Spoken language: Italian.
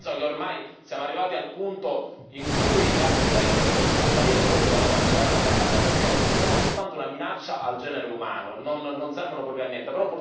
Penso che ormai siamo arrivati al punto in cui le armi nucleari dovrebbero scomparire proprio dalla faccia della terra, perché sono soltanto una minaccia al genere umano, non servono proprio a niente.